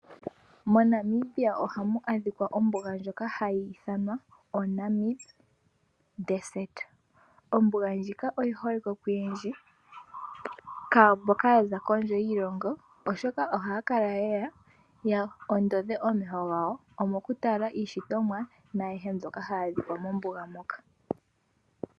MoNamibia ohamu adhika ombuga ndjoka hayi ithanwa kutya ombuga yaNamib. Ombuga ndjika oyi holike koyendji mboka ya za kondje yiilongo, oshoka ohaya kala ye ya ya ondodhe omeho gawo mokutala iishitomwa naayihe mbyoka hayi adhika mombuga moka.